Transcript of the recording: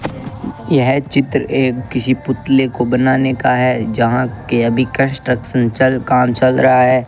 यह चित्र एक किसी पुतले को बनाने का है जहां के अभी कंस्ट्रक्शन चल काम चल रहा है।